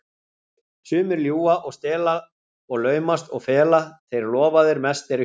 Sumir ljúga og stela og laumast og fela, þeir lofaðir mest eru hér.